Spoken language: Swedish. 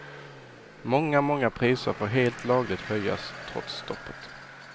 Många, många priser får helt lagligt höjas trots stoppet.